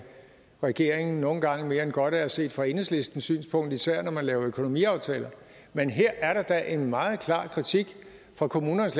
regeringen nogle gange mere end godt er set fra enhedslistens synspunkt især når man laver økonomiaftaler men her er der da en meget klar kritik fra kommunernes